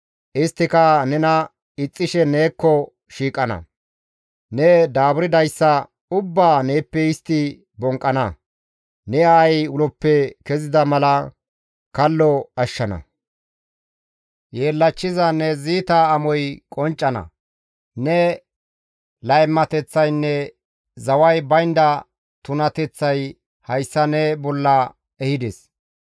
Isttika nena ixxishe neekko shiiqana; ne daaburdayssa ubbaa neeppe istti bonqqana; ne aayey uloppe kezida mala kallo ashshana. Yeellachchiza ne ziita amoy qonccana; ne laymateththaynne zaway baynda tunateththay hayssa ne bolla ehides.